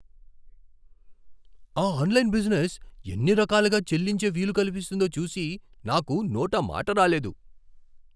ఆ online business ఎన్ని రకాలుగా చెల్లించే వీలు కల్పిస్తోందో చూసి నాకు నోట మాట రాలేదు.